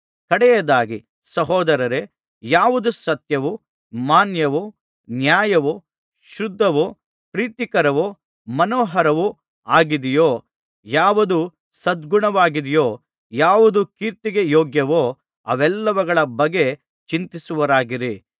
ಕಡೆಯದಾಗಿ ಸಹೋದರರೇ ಯಾವುದು ಸತ್ಯವೂ ಮಾನ್ಯವೂ ನ್ಯಾಯವೂ ಶುದ್ಧವೂ ಪ್ರೀತಿಕರವೂ ಮನೋಹರವೂ ಆಗಿದೆಯೋ ಯಾವುದು ಸದ್ಗುಣವಾಗಿದೆಯೋ ಯಾವುದು ಕೀರ್ತಿಗೆ ಯೋಗ್ಯವೋ ಅವೆಲ್ಲವುಗಳ ಬಗ್ಗೆ ಚಿಂತಿಸುವವರಾಗಿರಿ